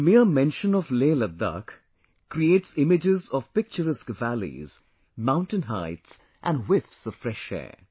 The mere mention of LehLadakh creates images of picturesque valleys, mountain heights & whiffs of fresh air